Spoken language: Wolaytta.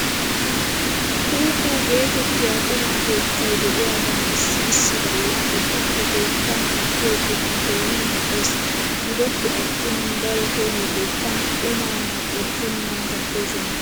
Kuku geetettiyaa quma keettay de'iyaagan issi issi galla eti he keettan kattiyoo qumay keehi mal'es. Gidoppe attin daroto he keettan qumaa mal'ettenan kattoosona.